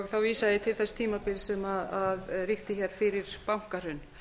þá vísa ég til þess tímabils sem ríkti hér fyrir bankahrun